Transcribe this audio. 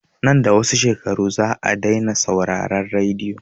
Nan da wasu shekaru za a dai na sauraran radiyo